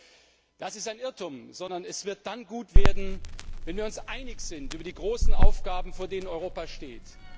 Ich glaube, das ist ein Irrtum, sondern es wird dann gut werden, wenn wir uns einig sind über die großen Aufgaben, vor denen Europa steht.